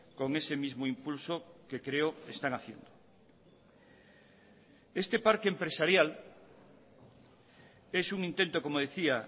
con ese mismo impulso que creo están haciendo este parque empresarial es un intento como decía